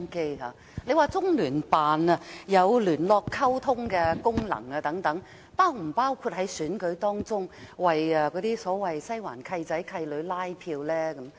局長表示中聯辦有聯絡溝通的功能等，這是否包括在選舉當中，為所謂"西環契仔、契女"拉票呢？